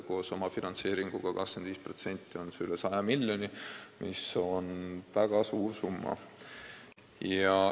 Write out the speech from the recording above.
Koos omafinantseeringuga 25% ulatuses teeb see kokku üle 100 miljoni, mis on väga suur summa.